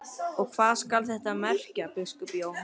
Og hvað skal þetta merkja, biskup Jón?